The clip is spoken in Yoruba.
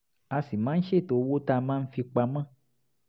a sì máa ń ṣètò owó tá a máa fi pa mọ́